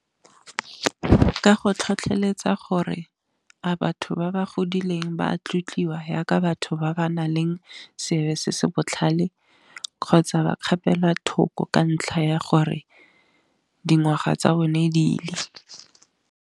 Ka go tlhotlheletsa gore a batho ba ba godileng ba a tlotliwa yaka batho ba ba nang le sebe se se botlhale, kgotsa ba kgapelwa thoko ka ntlha ya gore dingwaga tsa bone diile.